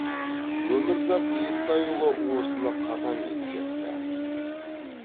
өмірзақ естайұлы осыны қатаң ескертті